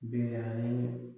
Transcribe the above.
Bi a ye